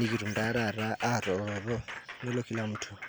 nikitum ta tata atoroto nelo kila mtu